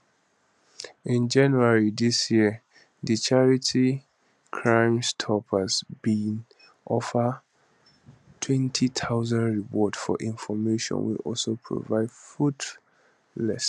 in january dis year di charity crimestoppers bin offer a 20000reward for information wey also prove fruitless